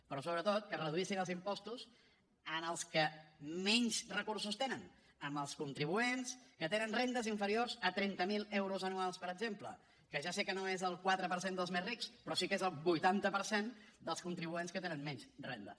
però sobretot que es reduïssin els impostos als que menys recursos tenen als contribuents que tenen rendes inferiors a trenta mil euros anuals per exemple que ja sé que no és el quatre per cent dels més rics però sí que és el vuitanta per cent dels contribuents que tenen menys rendes